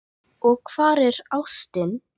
Og hvar er ástin?